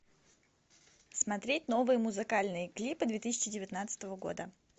смотреть новые музыкальные клипы две тысячи девятнадцатого года